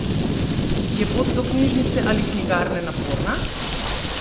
Je pot do knjižnice ali knjigarne naporna?